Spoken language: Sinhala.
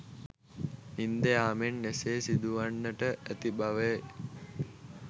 නින්ද යාමෙන් එසේ සිදුවන්නට ඇති බවය.